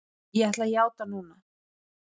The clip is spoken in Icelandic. Ég ætla að játa núna.